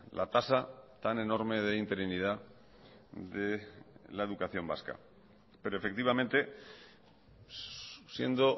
la tasa tan enorme de interinidad de la educación vasca pero efectivamente siendo